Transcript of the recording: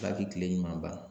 Ala ka kile ɲuman ban